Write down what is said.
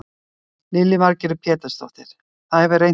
Lillý Valgerður Pétursdóttir: Það hefur reynt á?